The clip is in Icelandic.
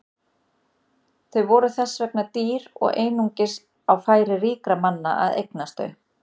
Þau voru þess vegna dýr og einungis á færi ríkra manna að eignast þau.